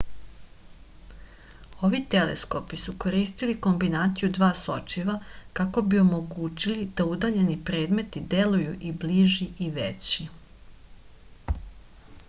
ovi teleskopi su koristili kombinaciju dva sočiva kako bi omogućili da udaljeni predmeti deluju i bliži i veći